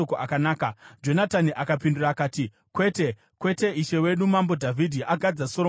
Jonatani akapindura akati, “Kwete, kwete! Ishe wedu Mambo Dhavhidhi agadza Soromoni paumambo.